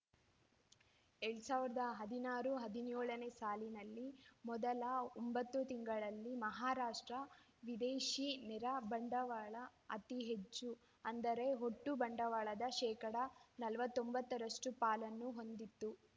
ಎರಡ್ ಸಾವಿರದ ಹದಿನಾರು ಹದಿನ್ಯೋಳನೇ ಸಾಲಿನಲ್ಲಿ ಮೊದಲ ಒಂಬತ್ತು ತಿಂಗಳಲ್ಲಿ ಮಹಾರಾಷ್ಟ್ರ ವಿದೇಶಿ ನೇರ ಬಂಡವಾಳ ಅತಿ ಹೆಚ್ಚು ಅಂದರೆ ಒಟ್ಟು ಬಂಡವಾಳದ ಶೇಕಡಾ ನಲವತ್ತೊಂಬತ್ತರಷ್ಟು ಪಾಲನ್ನು ಹೊಂದಿತ್ತು